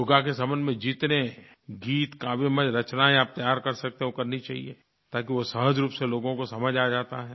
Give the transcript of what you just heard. योग के संबंध में जितने गीत काव्यमय रचनायें आप तैयार कर सकते हैं वो करनी चाहिए ताकि वो सहज रूप से लोगों को समझ आ जाता है